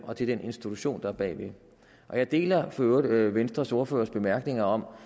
og til den institution der er bag jeg deler for øvrigt venstres ordførers bemærkninger om